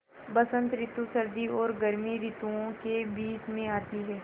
बसंत रितु सर्दी और गर्मी रितुवो के बीच मे आती हैँ